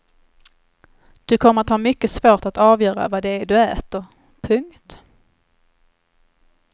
Du kommer att ha mycket svårt att avgöra vad det är du äter. punkt